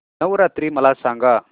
नवरात्री मला सांगा